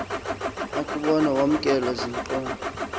akuwubona wamkelwa ziingqondo